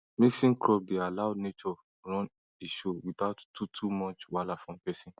mixing crop dey allow nature run e show without too too much wahala from person